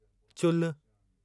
चुल्हि